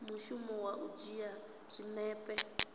mushumo wa u dzhia zwinepe